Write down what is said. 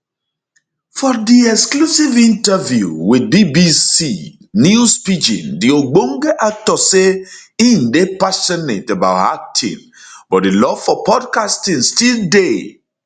for di exclusive interview wit bbc news pidgin di ogbonge actor say im dey passionate about acting but di love for podcasting still dey